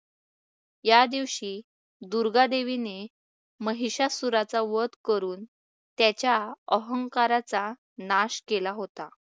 या दिवशी दुर्गादेवीने महिषासुराचा वध करून त्याच्या अहंकाराचा नाश केला होता.